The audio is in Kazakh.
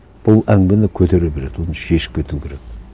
бұл әңгімені көтере береді оны шешіп кету керек